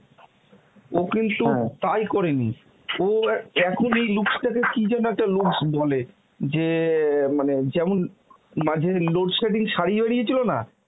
ও কিন্তু তাই করেনি. ও অ্যাঁ এখন এই looks টা কে কিন্তু কি যেন একটা looks বলে যে অ্যাঁ মানে যেমন মানে যেমন load-shedding শাড়ি বেরিয়েছিল না